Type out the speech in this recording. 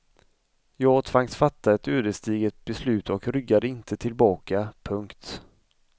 Jag tvangs fatta ett ödesdigert beslut och ryggade inte tillbaka. punkt